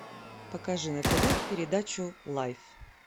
покажи на тв передачу лайф